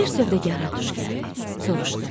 Bir sövdəgara tuş gəldi, soruşdu.